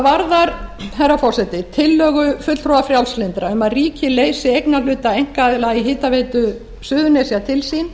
hvað varðar herra forseti tillögu fulltrúa frjálslyndra um að ríkið leysi eignarhluta einkaaðila í hitaveita suðurnesja til sín